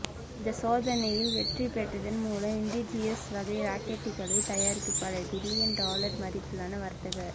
இந்த சோதனையில் வெற்றி பெற்றதன் மூலம் இன்டிஜியஸ் வகை ராக்கெட்டுகளை தயாரிக்கும் பல பில்லியன் டாலர் மதிப்பிலான வர்த்தக